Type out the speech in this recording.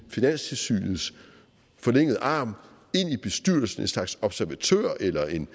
finanstilsynets forlængede arm ind i bestyrelsen en slags observatør eller en